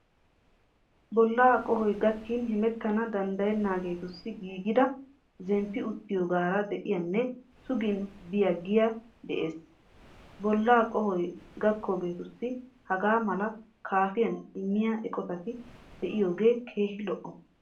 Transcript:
Bollaa qohoy gakkin hemettana danddayennaageetussi giigida, zemppi uttiyogaara de'iyaanne sugin biyagee de"ees. Bollaa qohoy gakkidoogeetussi hagaa malaa kaafiyan immiya eqotati de'iyogee keehi lo'o.